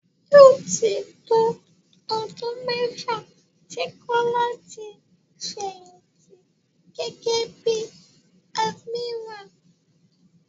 Yóò tí tó ọdún mẹ́fà tí Kọ́lá ti fẹ̀yìnti gẹ́gẹ́ bí admiral.